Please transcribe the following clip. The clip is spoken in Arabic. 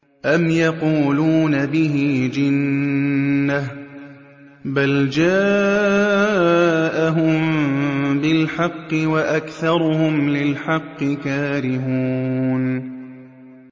أَمْ يَقُولُونَ بِهِ جِنَّةٌ ۚ بَلْ جَاءَهُم بِالْحَقِّ وَأَكْثَرُهُمْ لِلْحَقِّ كَارِهُونَ